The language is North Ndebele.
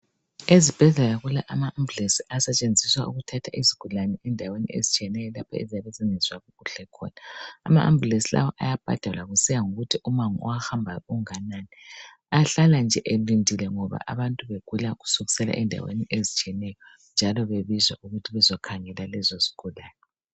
Ezibhedlela kula ambulensi asetshenziswa ukuthatha izigulane endaweni ezitshiyeneyo lapha eziyabe zingezwa kuhle khona. Ama ambulensi lawa ayabhadalwa kusiya ngokuthi umango owahambayo unganani, ahlala nje elindile ngoba abantu begula kusukusela endaweni ezitshiyeneyo njalo bahlala bebizwa ukuthi bezokhangela lezo zigulane.